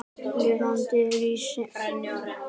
Lifandi lýsing er alltaf betri.